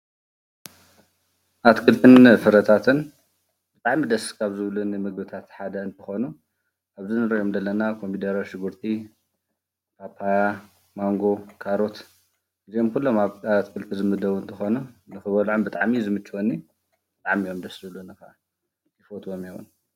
ኣትክልትን ፍረታትን ብጣዕሚ ደስ ካብ ዝብሉኒ ምግብታት ሓደ እንትኾኑ ኣብዚ ንሪኦም ዘለና ኮሚደረ፣ ሽጉርቲ፣ ፓፓያ፣ ማንጎ፣ ካሮት እዚኦም ኩሎም ኣብ ኣትክልቲ ዝምደቡ እንትኾኑ ንኽበልዖም ብጣዕሚ እዩ ዝምችወኒ፡፡ ብጣዕሚ እዮም ደስ ዝብሉኒ፡፡ ይፈትዎም እየ ዉን፡፡